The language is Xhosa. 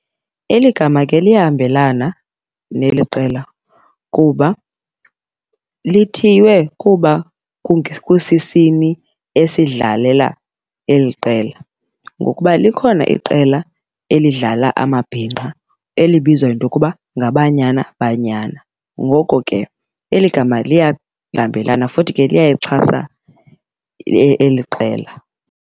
Eli gama ke liyahambelana neli qela kuba lithiywe kuba kusisini esidlalela eli qela. Ngokuba likhona iqela elidlala amabhinqa elibizwa yinto yokuba ngaBanyana Banyana, ngoko ke eli gama liyahambelana futhi ke liyayixhasa eli qela.